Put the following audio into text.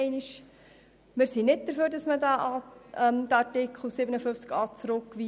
Wir sind nicht dafür, diesen Artikel 57a in die Kommission zurückzuweisen.